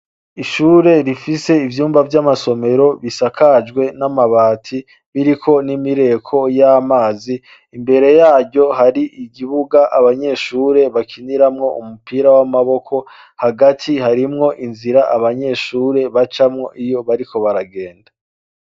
Ishure rifise ivyumba vy'amasomero bisakajwe n'amabati biriko n'imireko y'amazi imbere yaryo hari igibuga abanyeshure bakiniramwo umupira w'amaboko hagati harimwo inzira abanyeshure bacamwo iyo bariko baragenda.